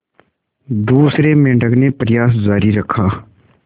दूसरे मेंढक ने प्रयास जारी रखा